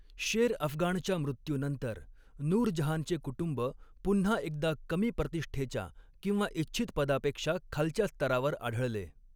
शेर अफगाणच्या मृत्यूनंतर, नूर जहानचे कुटुंब पुन्हा एकदा कमी प्रतिष्ठेच्या किंवा इच्छित पदापेक्षा खालच्या स्तरावर आढळले.